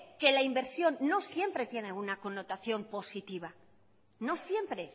que la inversión no siempre tiene una connotación positiva no siempre